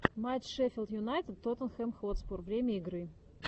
матч шеффилд юнайтед тоттенхэм хотспур время игры